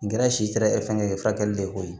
N gɛrɛ si tɛ fɛngɛ ye furakɛli le koyi